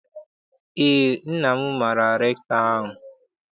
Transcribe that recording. Eé, nna m maara rektọ ahụ.